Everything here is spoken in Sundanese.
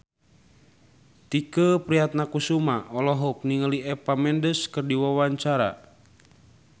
Tike Priatnakusuma olohok ningali Eva Mendes keur diwawancara